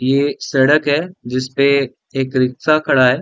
ये एक सड़क है जिसपे एक रिक्शा खड़ा है।